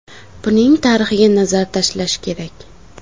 Buning tarixiga nazar tashlash kerak.